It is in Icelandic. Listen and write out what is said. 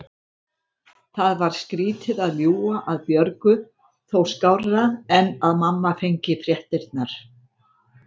Það var skrýtið að ljúga að Björgu, þó skárra en að mamma fengi fréttirnar.